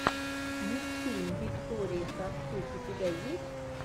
мультфильм виктории сафтюк у тебя есть